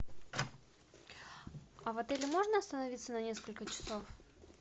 а в отеле можно остановиться на несколько часов